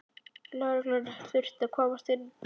Lögreglan þurfti að komast inn, takk!